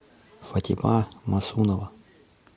фатима мосунова